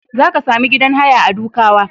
Za ka sami gidan haya a Dukawa.